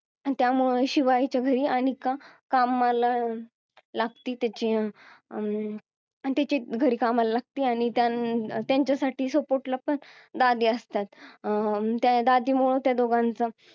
त्यामुळे शिवायच्या घरी अनिका कामाला लागती त्याची अं त्याच्या घरी कामाला लागती आणि त्या~ त्यांच्यासाठी support ला पण दादी असतात आणि त्या दादीमुळे त्या दोघांचं